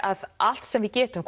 að allt sem við getum